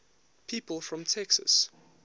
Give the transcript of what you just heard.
people from texas